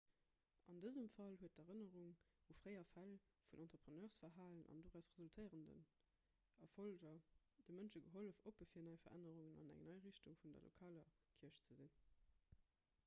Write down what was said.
an dësem fall huet d'erënnerung u fréier fäll vun entrepreneursverhalen an doraus resultéierend erfolleger de mënsche gehollef oppe fir nei verännerungen an eng nei richtung vun der lokaler kierch ze sinn